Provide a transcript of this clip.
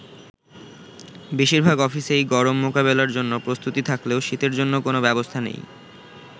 বেশিরভাগ অফিসেই গরম মোকাবেলার জন্য প্রস্তুতি থাকলেও শীতের জন্য কোন ব্যবস্থা নেই।